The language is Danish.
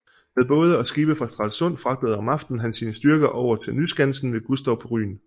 Med både og skibe fra Stralsund fragtede om aftenen han sine styrker over til Nyskansen ved Gustow på Rügen